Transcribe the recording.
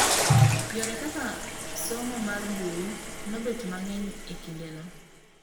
Yore kaka somo mar mbui nobet mang'eny ekinde no.